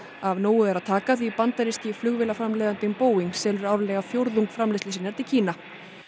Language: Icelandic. af nógu er að taka því bandaríski Boeing selur árlega fjórðung framleiðslu sinnar til Kína